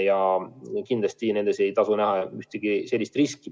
Ja kindlasti siin ei maksa näha ühtegi sellist riski.